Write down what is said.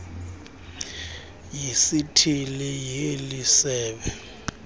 yesithili yeli sebe